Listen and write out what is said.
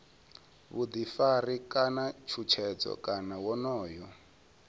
vhuḓifari kana tshutshedzo kana wonoyo